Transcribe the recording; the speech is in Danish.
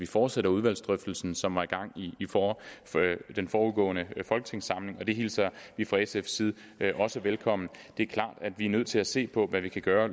fortsætter udvalgsdrøftelsen som var i gang i den foregående folketingssamling og det hilser vi fra sfs side velkommen det er klart at vi løbende er nødt til at se på hvad vi kan gøre